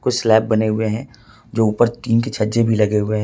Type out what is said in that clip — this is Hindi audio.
स्लैप बने हुए हैं जो ऊपर टीन के छज्जे भी लगे हुए हैं।